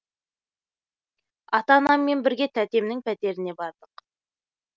ата анаммен бірге тәтемнің пәтеріне бардық